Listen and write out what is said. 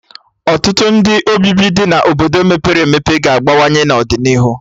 Ọtụtụ ndụ obibi dị na Obodo mepere emepe ga-agbanwe n'ọdịnihu